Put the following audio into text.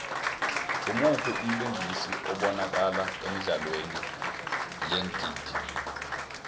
ngumuphi umlingisi obanakala emidlalweni yeengidi